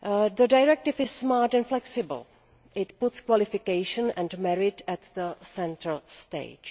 The directive is smart and flexible it puts qualification and merit centre stage.